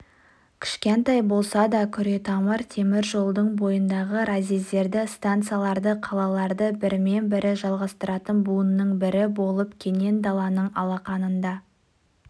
кішкентай болса да күретамыр темір жолдың бойындағы разъездерді станцияларды қалаларды бірімен-бірін жалғастыратын буынның бірі болып кенен даланың алақанында